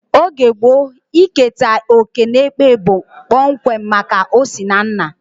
Oge gboo, iketa oké n'ekpe bụ kpọmkwem maka osinanna